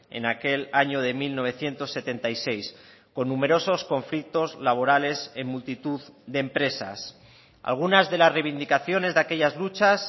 en aquel año de mil novecientos setenta y seis con numerosos conflictos laborales en multitud de empresas algunas de las reivindicaciones de aquellas luchas